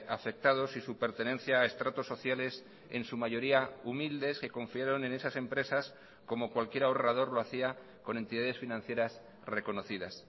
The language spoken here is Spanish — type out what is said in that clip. afectados y su pertenencia a estratos sociales en su mayoría humildes que confiaron en esas empresas como cualquier ahorrador lo hacía con entidades financieras reconocidas